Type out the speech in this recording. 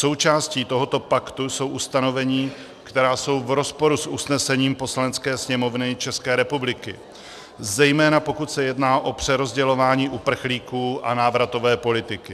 Součástí tohoto paktu jsou ustanovení, která jsou v rozporu s usnesením Poslanecké sněmovny České republiky, zejména pokud se jedná o přerozdělování uprchlíků a návratové politiky.